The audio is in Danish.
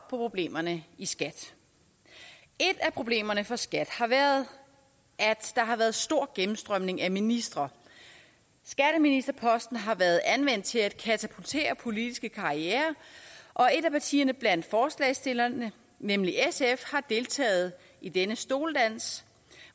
problemerne i skat et af problemerne for skat har været at der har været stor gennemstrømning af ministre skatteministerposten har været anvendt til at katapultere politiske karrierer og et af partierne blandt forslagsstillerne nemlig sf har deltaget i denne stoledans